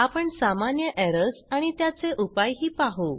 आपण सामान्य एरर्स आणि त्याचे उपाय ही पाहु